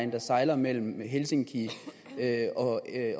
der sejler mellem helsinki